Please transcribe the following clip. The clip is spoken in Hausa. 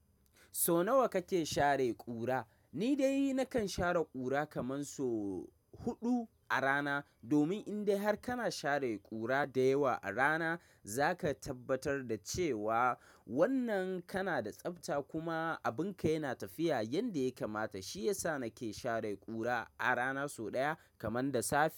So nawa kake share ƙura? Ni dai nakan share ƙura kaman so huɗu a rana. Domin in dai har kana share ƙura da yawa a rana, zaka tabbatar da cewa wannan kana da tsabta kuma abunka yana tafiya yanda ya kamata. Shi yasa nake share ƙura a rana sau ɗaya kaman da safe.